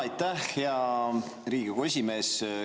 Aitäh, hea Riigikogu esimees!